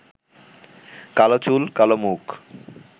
কালো চুল, কালো মুখ